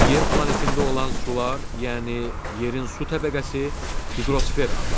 Yer planetində olan sular, yəni yerin su təbəqəsi hidrosfer adlanır.